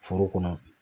Foro kɔnɔ